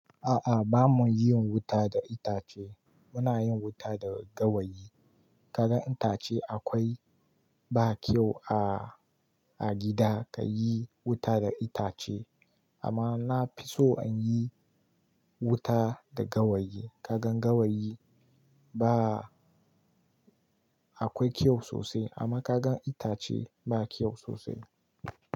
A'a bamu yin wuta da itace, muna yin wuta da gawayi. Kagan itace akwai ba kyau a, a gida ka yi wuta da itace. Amma na fi so anyi wuta da gawayi. Kagan gawayi ba akwai kyau sosai amma kagan itace ba kyau sosai.